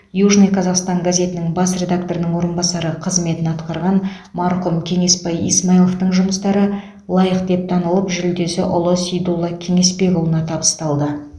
южный казахстан газетінің бас редакторының орынбасары қызметін атқарған марқұм кеңесбай исмайловтың жұмыстары лайық деп танылып жүлдесі ұлы сейдулла кеңесбекұлына табысталды